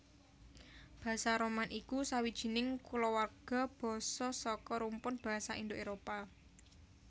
Basa Roman iku sawijining kulawarga basa saka rumpun basa Indo Éropah